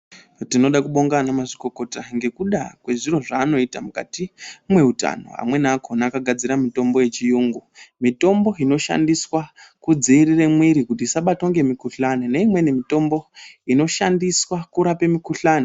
Tinoda kubonga ana mazvikokota ngekuda kwezviro zvanoita mukati mweutano. Amweni akona akagadzira mitombo yechiyungu. Mitombo inoshandiswa kudziirira mwiri kuti isabatwa ngemukuhlani. Neimweni mitombo inoshandiswa kurape mukuhlani.